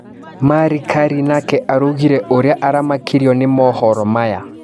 Mari Karĩ nake araugire ũria aramakirio nĩ mohoro maya.